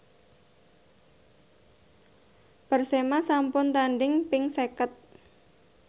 Persema sampun tandhing ping seket